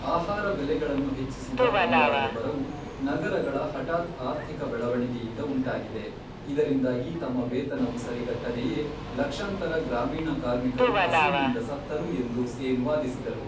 ಆಹಾರ ಬೆಲೆಗಳನ್ನು ಹೆಚ್ಚಿಸಿದ ಬಂಗಾಳದ ಬರವು ನಗರಗಳ ಹಠಾತ್ತ್ ಆರ್ಥಿಕ ಬೆಳವಣಿಗೆಯಿಂದ ಉಂಟಾಗಿದೆ, ಇದರಿಂದಾಗಿ ತಮ್ಮ ವೇತನವು ಸರಿಗಟ್ಟದೆಯೇ ಲಕ್ಷಾಂತರ ಗ್ರಾಮೀಣ ಕಾರ್ಮಿಕರು ಹಸಿವಿನಿಂದ ಸತ್ತರು ಎಂದು ಸೇನ್ ವಾದಿಸಿದರು.